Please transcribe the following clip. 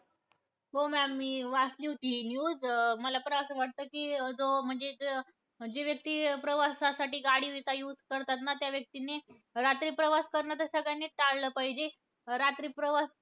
हो ma'am मी वाचली होती हि news. अं मला पण असं वाटतं, कि जो म्हणजे जे जे व्यक्ती प्रवासासाठी गाडीचा use करतात ना, त्या व्यक्तीने रात्री प्रवास करणं, तर सगळ्यांनीचं टाळलं पाहिजे. रात्री प्रवास